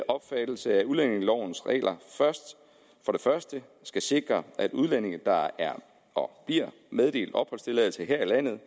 opfattelse at udlændingelovens regler for det første skal sikre at udlændinge der er og bliver meddelt opholdstilladelse her i landet